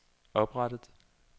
oprettet